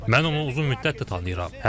Mən onu uzun müddətdir tanıyıram.